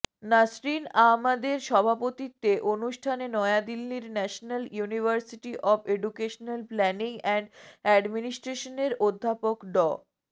নাসরিন আহমাদের সভাপতিত্বে অনুষ্ঠানে নয়াদিল্লির national university of educational planning and অ্যাডমিনিস্ট্রেশনের অধ্যাপক ড